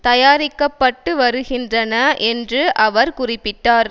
தயாரிக்க பட்டு வருகின்றன என்று அவர் குறிப்பிட்டார்